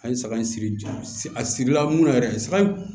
An ye saga in siri jɔ si a sirila munna yɛrɛ saga in